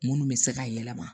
Minnu bɛ se ka yɛlɛma